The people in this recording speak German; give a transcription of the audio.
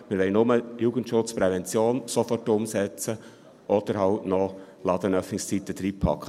Wir wollen nur den Jugendschutz und die Prävention sofort umsetzen oder noch die Ladenöffnungszeiten hineinpacken.